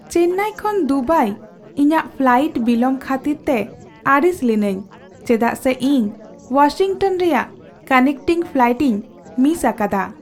ᱪᱮᱱᱱᱟᱭ ᱠᱷᱚᱱ ᱫᱩᱵᱟᱭ ᱤᱧᱟᱹᱜ ᱯᱷᱞᱟᱭᱤᱴ ᱵᱤᱞᱚᱢ ᱠᱷᱟᱹᱛᱤᱨᱛᱮ ᱟᱹᱲᱤᱥ ᱞᱤᱱᱟᱹᱧ ᱪᱮᱫᱟᱜ ᱥᱮ ᱤᱧ ᱳᱣᱟᱥᱤᱝᱴᱚᱱ ᱨᱮᱭᱟᱜ ᱠᱟᱱᱮᱠᱴᱤᱝ ᱯᱷᱞᱟᱭᱤᱴᱤᱧ ᱢᱤᱥ ᱟᱠᱟᱫᱟ ᱾